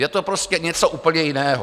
Je to prostě něco úplně jiného.